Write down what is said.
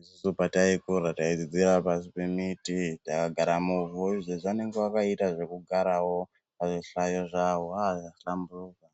Isusu pataifunda taidzidzira pasi pemiti takagara muvhu. Izvezvi vanenge vakaita zvekugarawo pazvihlayo, ah zvahlamburuka.